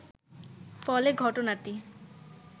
ফলে ঘটনাটি